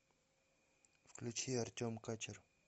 включи артем качер